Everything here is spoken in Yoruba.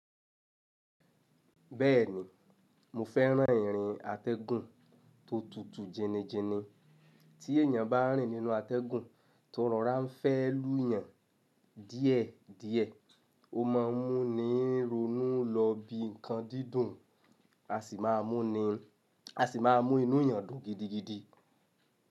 Bẹ́ẹ̀ni, mo fẹ́ràn ìrìn atẹ́gùn tó tutù jẹni jẹni, tí èyàn bá rìn nínú atẹ́gùn tó rọrà fẹ́ lù yàn díẹ̀ díẹ̀, ó má a mú ni ronú lọ bí nǹkan dídùn, á sì má a mú inú yàn dùn gidigidi.